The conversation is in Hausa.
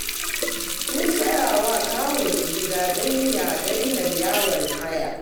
Sun saya wa kawunsu gida don ya daina yawon haya